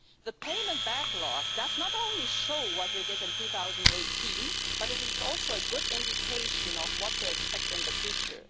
The payment backlog not only shows what we did in 2018, but it is also a good indication of what to expect in the future.